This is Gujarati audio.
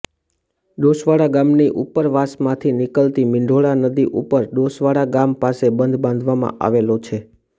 ડોસવાડા ગામની ઉપરવાસમાંથી નીકળતી મીંઢોળા નદી ઉપર ડોસવાડા ગામ પાસે બંધ બાંધવામાં આવેલો છે